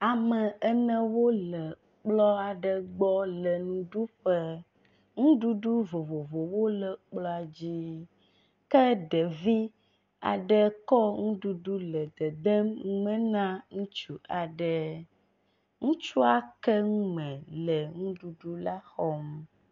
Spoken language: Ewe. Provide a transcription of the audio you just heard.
Ame enewo le kplɔ aɖe gbɔ le nuɖuƒe. Nuɖuɖu vovovowo le kplɔa dzi ke ɖevi aɖe kɔ nuɖuɖu le dedem nu me na ŋutsu aɖe. Ŋutsua ke nu me le nuɖuɖu la xɔm.